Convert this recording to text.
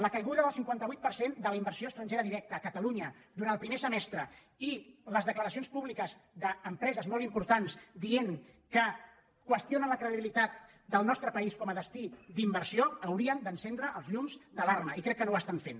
la caiguda del cinquanta vuit per cent de la inversió estrangera directa a catalunya durant el primer semestre i les declaracions públiques d’empre·ses molt importants dient que qüestionen la credibilitat del nostre país com a destí d’inversió haurien d’encen·dre els llums d’alarma i crec que no ho estan fent